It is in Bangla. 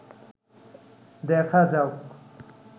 দেখা যাউক